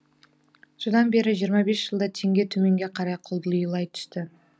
содан бері жиырма бес жылда теңге төменге қарай құлдилай түсті